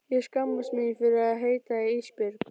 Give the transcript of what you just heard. Ég skammast mín fyrir að heita Ísbjörg.